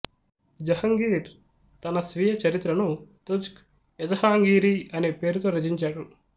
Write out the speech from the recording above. జహాంగీర్ తన స్వీయ చరిత్రను తుజ్క్ఎజహాంగీరీ అనే పేరుతో రచించాడు